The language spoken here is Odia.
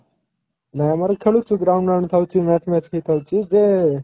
ନାଇଁ ଆମର ଖେଲୂଛୁ ground ବ୍ରାଉଣ୍ଡ ଥାଉଛି match ବ୍ୟାଚ୍ ବି ଥାଉଛି ଯେ